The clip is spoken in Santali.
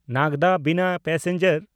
ᱱᱟᱜᱽᱫᱟ-ᱵᱤᱱᱟ ᱯᱮᱥᱮᱧᱡᱟᱨ